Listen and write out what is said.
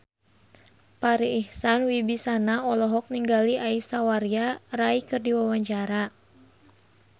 Farri Icksan Wibisana olohok ningali Aishwarya Rai keur diwawancara